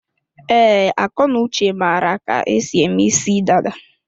Ee, Akọnuche mara ka-esi eme isi dada.